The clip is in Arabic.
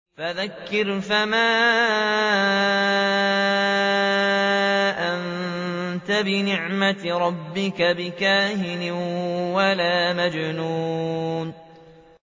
فَذَكِّرْ فَمَا أَنتَ بِنِعْمَتِ رَبِّكَ بِكَاهِنٍ وَلَا مَجْنُونٍ